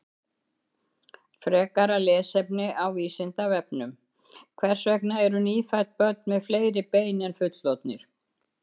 Frekara lesefni á Vísindavefnum: Hvers vegna eru nýfædd börn með fleiri bein en fullorðnir?